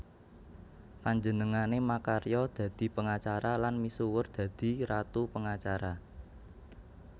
Panjenengané makarya dadi pengacara lan misuwur dadi Ratu Pengacara